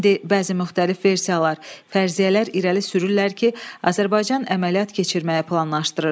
İndi bəzi müxtəlif versiyalar, fərziyyələr irəli sürürlər ki, Azərbaycan əməliyyat keçirməyi planlaşdırırdı.